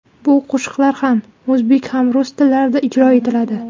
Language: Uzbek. Bu qo‘shiqlar ham o‘zbek, ham rus tillarida ijro etiladi.